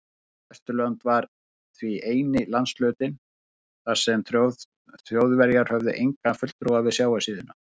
Vesturland var því eini landshlutinn, þar sem Þjóðverjar höfðu engan fulltrúa við sjávarsíðuna.